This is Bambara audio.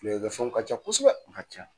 Filɛlikɛfɛnw ka ca kosɛbɛ, u ka ca.